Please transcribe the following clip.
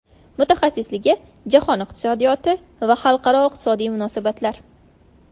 Mutaxassisligi Jahon iqtisodiyoti va xalqaro iqtisodiy munosabatlar.